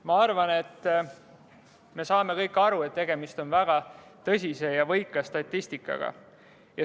Ma arvan, me saame kõik aru, et tegemist on väga tõsise ja võika statistikaga.